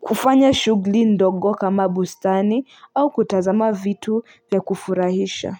kufanya shugli ndogo kama bustani au kutazama vitu ya kufurahisha.